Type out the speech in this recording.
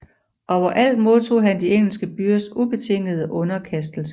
Overalt modtog han de engelske byers ubetingede underkastelse